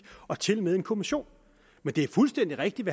og tilmed en kommission men det er fuldstændig rigtigt